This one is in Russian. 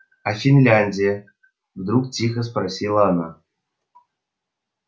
а финляндия вдруг тихо спросила она